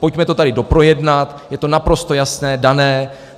Pojďme to tady doprojednat, je to naprosto jasné, dané.